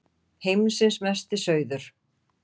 Heimsins Mesti Sauður!